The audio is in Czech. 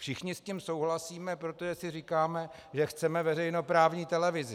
Všichni s tím souhlasíme, protože si říkáme, že chceme veřejnoprávní televizi.